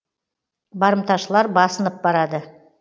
барымташылар басынып барады